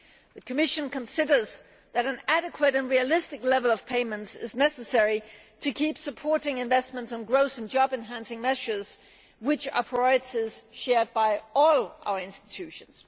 The Commission considers that an adequate and realistic level of payments is necessary to keep supporting investments on growth and job enhancing measures, which are priorities shared by all institutions.